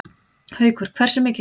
Haukur: Hversu mikið?